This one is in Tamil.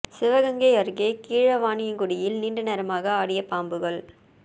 சிவகங்கை அருகே கீழவாணியங்குடியில் நீண்ட நேரமாக ஆடிய பாம்புகள்